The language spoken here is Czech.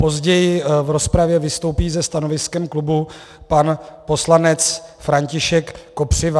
Později v rozpravě vystoupí se stanoviskem klubu pan poslanec František Kopřiva.